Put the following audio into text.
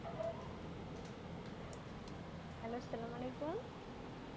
hallo আসসালামু আলাইকুম